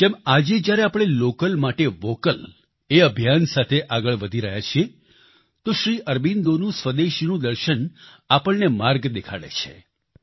જેમ આજે જ્યારે આપણે લોકલ માટે વોકલ એ અભિયાન સાથે આગળ વધી રહ્યા છીએ તો શ્રી અરબિંદોનું સ્વદેશીનું દર્શન આપણને માર્ગ દેખાડે છે